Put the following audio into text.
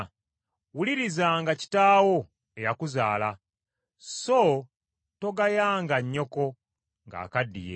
Wulirizanga kitaawo eyakuzaala, so togayanga nnyoko ng’akaddiye.